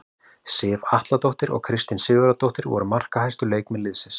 Sif Atladóttir og Kristín Sigurðardóttir voru markahæstu leikmenn liðsins.